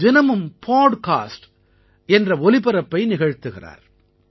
தினமும் பாட்காஸ்ட் என்ற ஒலிபரப்பை நிகழ்த்துகிறார்